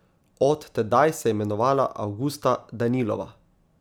Od tedaj se je imenovala Avgusta Danilova.